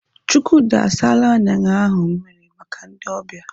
Chukwudi asaala aṅara ahụ mmiri maka ndị ọbịa.